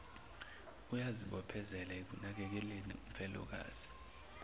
uyazibophezela ekunakekeleni umfelokazi